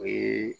O ye